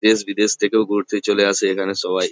দেশ বিদেশ থেকেও ঘুরতে চলে আসে এখানে সবাই।